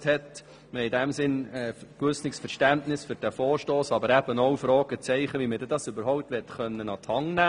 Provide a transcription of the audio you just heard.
Wir haben in diesem Sinn ein gewisses Verständnis für diesen Vorstoss, aber eben auch Fragezeichen, wie die Umsetzung an die Hand genommen werden könnte.